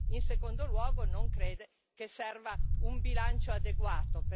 In secondo luogo, non crede che serva un bilancio adeguato?